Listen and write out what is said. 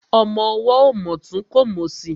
Ọmọ ọwọ́ ò mòtún kò mòsì.